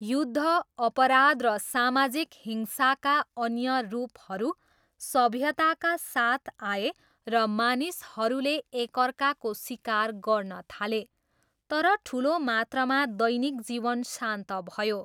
युद्ध, अपराध र सामाजिक हिंसाका अन्य रूपहरू सभ्यताका साथ आए र मानिसहरूले एकअर्काको सिकार गर्न थाले, तर ठुलो मात्रामा दैनिक जीवन शान्त भयो।